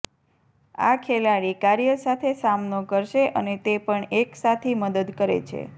આ ખેલાડી કાર્ય સાથે સામનો કરશે અને તે પણ એક સાથી મદદ કરે છે